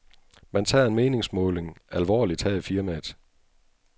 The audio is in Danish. Man tager en meningsmåling alvorligt her i firmaet.